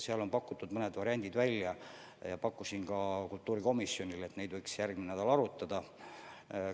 Seal on pakutud mõned variandid välja ja ma ütlesin ka kultuurikomisjonile, et neid võiks järgmine nädal arutada.